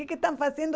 O que estão fazendo?